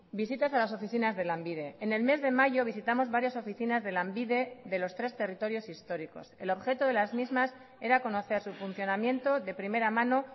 visitas a las oficinas de lanbide en el mes de mayo visitamos varias oficinas de lanbide de los tres territorios históricos el objeto de las mismas era conocer su funcionamiento de primera mano